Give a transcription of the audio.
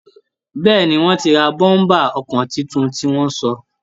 Bẹ́ẹ́ni, wọ́n ti ra bọ́m̀bà ọkọ̀ tuntun tí wọ́n sọ